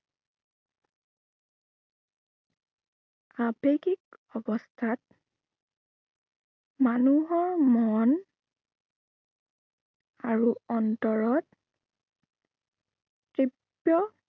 আবেগিক অৱস্থাত মানুহৰ মন আৰু অন্তৰত তৃপ্ত